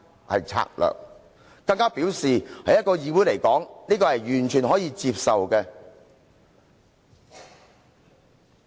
"他更說："在一個議會來說，這是完全可以接受的。